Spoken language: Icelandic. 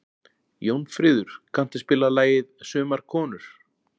Jónfríður, kanntu að spila lagið „Sumar konur“?